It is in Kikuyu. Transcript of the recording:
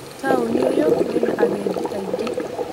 Taũni ũyũ wĩna agendi aingĩ